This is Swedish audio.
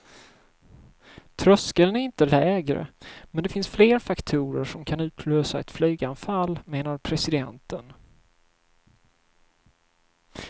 Tröskeln är inte lägre, men det finns fler faktorer som kan utlösa ett flyganfall, menade presidenten.